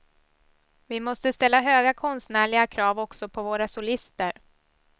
Vi måste ställa höga konstnärliga krav också på våra solister.